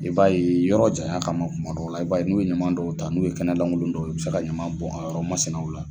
I b'a ye yɔrɔ janya kama kumadɔ la i b'a n'u ye ɲama dɔ ta n'u ye kɛnɛlangolo dɔw ye u bɛ se ka ɲama bon a yɔrɔ masinaw la.